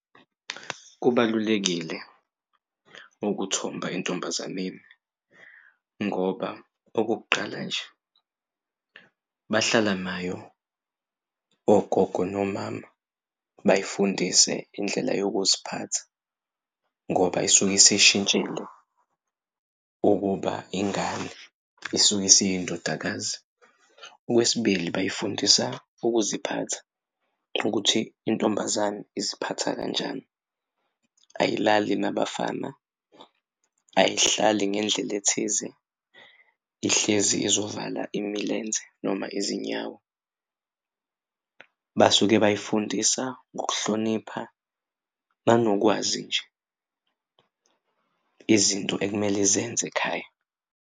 Kubalulekile ukuthomba entombazaneni ngoba okokuqala nje bahlala nayo ogogo nomama bayifundise indlela yokuziphatha ngoba isuke isishintshile ukuba ingane isuke isindodakazi. Okwesibili, bayifundisa ukuziphatha ukuthi intombazane iziphatha kanjani, ayilali nabafana, ayihlali ngendlela ethize, ihlezi izovala imilenze noma izinyawo. Basuke bayifundisa ngokuhlonipha nanokwazi nje izinto ekumele izenze ekhaya.